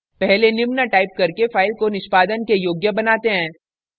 पहले निम्न टाइप करके file को निष्पादन के योग्य बनाते हैं